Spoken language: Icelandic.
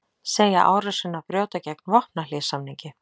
Segja árásina brjóta gegn vopnahléssamningi